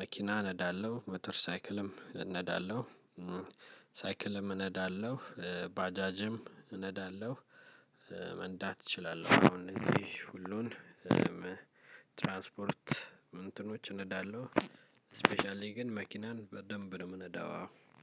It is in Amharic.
መኪና ነዳለሁ መተር ሳይክልም ነዳለሁ። ሳይክልም እነዳለሁ ባጃጅም እነዳለሁ። መንዳት እችላለሁ አሁን እንግዲህ ሁሉን ትራንስፖርት እንትኖች እነዳለሁ። ስፔሻሊ ግን መኪናን በደንብ ነው የምነዳው አዎ።